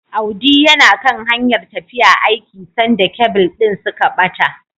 Audi yana kan hanyar tafiya aiki sanda kebil din suka bata.